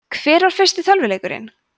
hver var fyrsti tölvuleikurinn